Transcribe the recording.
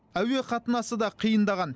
әуе қатынасы да қиындаған